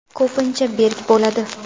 Ko‘pincha berk bo‘ladi.